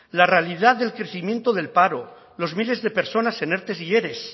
la realidad del crecimiento del paro los miles de personas en erte y ere